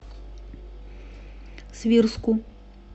свирску